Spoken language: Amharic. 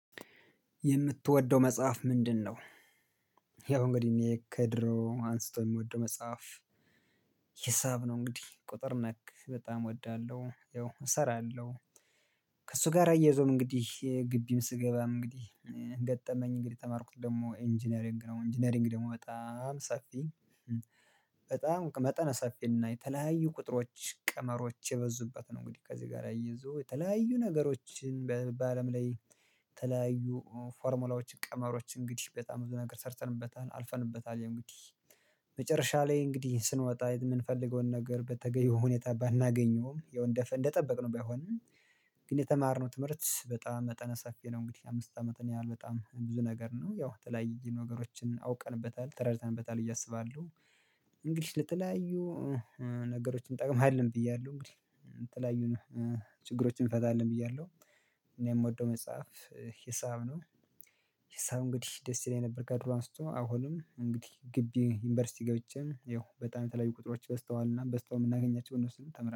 የምትወደው መጽሐፍ ምንድነው? ያው እንግዲህ እኔ ከድሮ አንስቶ የምወደው መጽሐፍ። ሂሳብ ነው እንግዲህ ቁጥር ነክ በጣም እወዳለሁ ያው እሰራለሁ። ከእሱ ጋር አያይዞም እንግዲህ ግቢም ስገባም እንግዲህ ገጠመኝ እንግዲህ የተማርኩት ደግሞ ኢንጂነሪንግ ነው ኢንጂነሪንግ ደግሞ በጣም ሰፊ በጣም መጠነ ሳፊ እና የተለያዩ ቁጥሮች ቀመሮች የበዙበት ነው። እንግዲህ ከዚህ ጋር አያይዞ የተለያዩ ነገሮችን በበአለም ላይ የተለያዩ ፎርሙላዎች ቀመሮች እንግዲህ በጣም ብዙ ነገር ሰርተንበታል አልፈንበታል። ያውእግዲህ መጨረሻ ላይ እንግዲህ ስንወጣ የምንፈልገውን ነገር በተገኘው ሁኔታ ባናገኘውም ያው እንደ እንደጠበቅን ባይሆንም። ግን የተማርነው ትምህርት በጣም መጠነ ሰፊ ነው። እንግዲህ አምስት አመት እኔ ያህል በጣም ብዙ ነገር ነው ያው የተለያይ ነገሮችን አውቀንበታል ተረድተንበታል ብዬአሰባሉው። እንግዲህ ለተለያዩ ነገሮችን እንጠቅማለን ብያለሁ እንግዲህ ለተለያዩን ችግሮችን እንፈታለን ብያለሁ። እኔ የምወደው መጽሐፍ ሂሳብ ነው። ሂሳብ እንግዲህ ደስ ይለኝ ነበር ከድሮ አንስቶ አሁንም እንግዲህ ግቢ ዩኒቨርሲቲ ገብቼም ይኸው በጣም የተለያዩ ቁጥሮች በዝተዋልና በዝተው የምናገኛቸውን እነሱን ተምረናል